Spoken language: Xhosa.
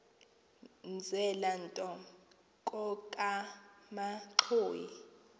mzela nto kokamanxhoyi